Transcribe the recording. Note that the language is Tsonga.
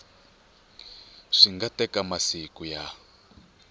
swi nga teka masiku ya